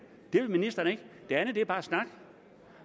vil ministeren ikke det andet er bare snak